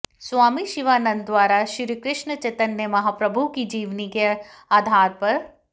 स्वामी शिवानंद द्वारा श्रीकृष्ण चैतन्य महाप्रभु की जीवनी के आधार पर